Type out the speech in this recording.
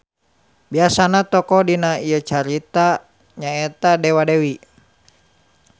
Biasana tokoh dina ieu carita nya eta dewa-dewi.